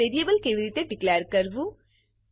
મા વેરીએબલ કેવી રીતે ડીકલેર કરવું